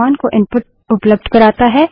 यह कमांड को इनपुट उपलब्ध कराता है